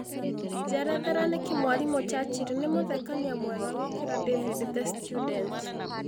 njerethera nĩkĩ mwarimũ Churchill nĩ mũthekania mwega gũkĩra david the student